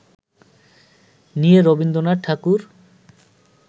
নিয়ে রবীন্দ্রনাথ ঠাকুর